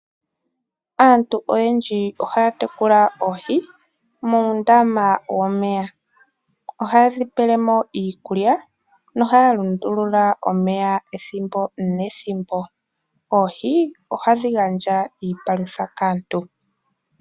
Aantu oyendji ohaya tekula oohi muundama womeya. Ohaye dhi pelemo iikulya, nohaya lundulula omeya ethimbo nethimbo. Oohi ohadhi gandja iipalutha kaantu.